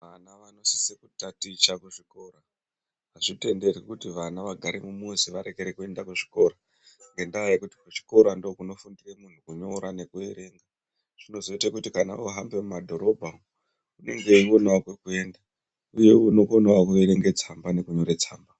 Vana vanosisa kutaticha kuzvikoro, azvitenderwi kuti vana vagare mumuzi varekere kuenda kuzvikora ngendaa yekuti kuchikora ndoo kunofundira muntu kunyora nekuverenga zvinozoita kuti kana vohambe mumadhorobha umu unenge eionawo kwekuenda uye unokonawo kuverenge tsamba nekunyorawo tsamba.